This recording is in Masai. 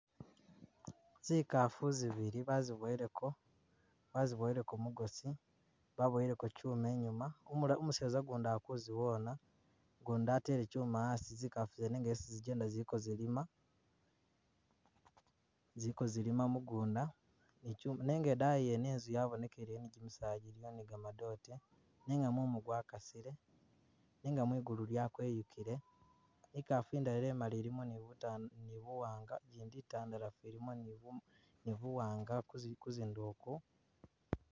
Zikafu zibili baziboyeleko, baziboyeleko mugosi baboyeleko kyuma inyuma umula umuseza gundi akuziwona ugundi atele kyuma asi zikafu zene esi zijenda zili kozilima, zili kozilima mugunda ne kyuma, nenga edayi yene enzu yabonekeleyo ni gyimisaala gyiliyo ni ga madote nenga mumu gwakasile nenga mwigulu lyakweyukile, ikafu indala emali ilimo ni buta ni buwanga gyindi itandalafu ilimo ni buma ni buwanga kuzi kuzindo okwo